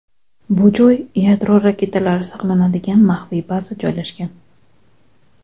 Bu joy yadro raketalari saqlanadigan maxfiy baza joylashgan.